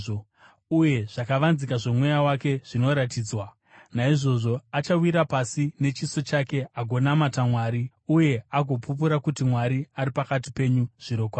uye zvakavanzika zvomweya wake zvinoratidzwa. Naizvozvo achawira pasi nechiso chake agonamata Mwari, uye agopupura kuti Mwari ari pakati penyu zvirokwazvo.